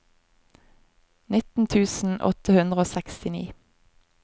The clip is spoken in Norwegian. nitten tusen åtte hundre og sekstini